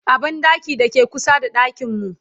a banɗakin da ke kusa da ɗakinku